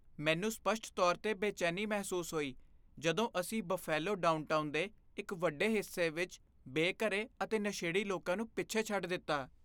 ਮੈਨੂੰ ਸਪੱਸ਼ਟ ਤੌਰ 'ਤੇ ਬੇਚੈਨੀ ਮਹਿਸੂਸ ਹੋਈ ਜਦੋਂ ਅਸੀਂ ਬਫੇਲੋ ਡਾਊਨਟਾਊਨ ਦੇ ਇੱਕ ਵੱਡੇ ਹਿੱਸੇ ਵਿੱਚ ਬੇਘਰੇ ਅਤੇ ਨਸ਼ੇੜੀ ਲੋਕਾਂ ਨੂੰ ਪਿੱਛੇ ਛੱਡ ਦਿੱਤਾ।